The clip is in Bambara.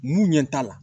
N'u ɲɛ t'a la